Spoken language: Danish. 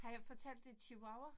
Har jeg fortalt det chihuahua?